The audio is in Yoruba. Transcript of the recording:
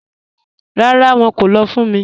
Ràrá, wọn kò lọ́ fún mí.